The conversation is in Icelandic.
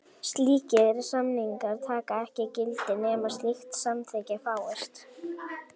Slíkir samningar taka ekki gildi nema slíkt samþykki fáist.